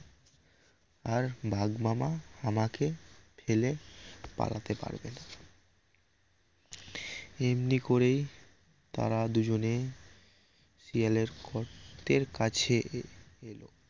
আর বাঘ মামা আমাকে ফেলে পালাতে পারবে না এমনি করেই তারা দুজনে শিয়ালের গর্তের কাছে এলো